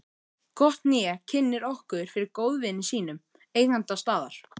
Gott hné kynnir okkur fyrir góðvini sínum, eiganda staðar